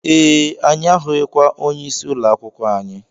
Ee, anyị ahụkwaghị onye isi ụlọakwụkwọ anyị